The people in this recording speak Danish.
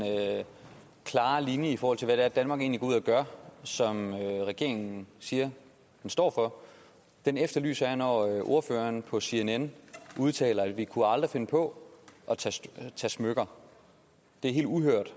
klare linje i forhold til er danmark egentlig går ud og gør som regeringen siger den står for efterlyser jeg når ordføreren på cnn udtaler at vi aldrig kunne finde på at tage smykker det er helt uhørt